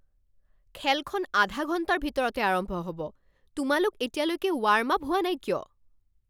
খেলখন আধা ঘণ্টাৰ ভিতৰতে আৰম্ভ হ'ব। তোমালোক এতিয়ালৈকে ৱাৰ্ম আপ হোৱা নাই কিয়?